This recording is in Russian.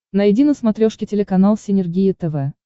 найди на смотрешке телеканал синергия тв